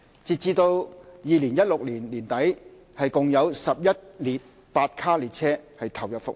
截至2016年年底，共有11列8卡列車投入服務。